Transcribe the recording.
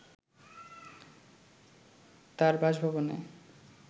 তার বাসভবনে